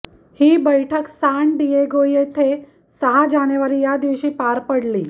ही बैठक San Diego येथे सहा जानेवारी या दिवशी पार पडली